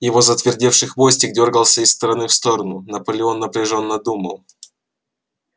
его затвердевший хвостик дёргался из стороны в сторону наполеон напряжённо думал